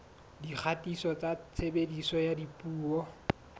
dikgatiso tsa tshebediso ya dipuo